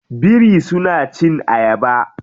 Biri suna cin ayaba.